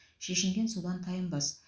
шешінген судан тайынбас